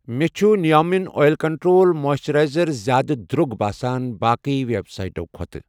مےٚ چھ نیٖویا مٮ۪ن اۄیل کنٹرٛول مویسثِرایزر زیادٕ درٛوگ باسان باقی ویب سیٹَو کھۄتہٕ